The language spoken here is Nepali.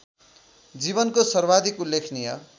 जीवनको सर्वाधिक उल्लेखनीय